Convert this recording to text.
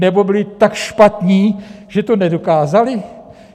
Nebo byli tak špatní, že to nedokázali?